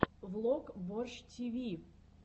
влог борщ тиви